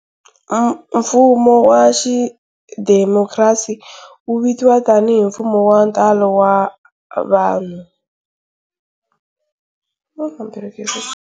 Mfumo wa xidhemokhrasi wu tiviwa tani hi"mfumo wa ntalo wa vanhu".